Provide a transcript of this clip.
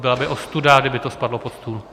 Byla by ostuda, kdyby to spadlo pod stůl.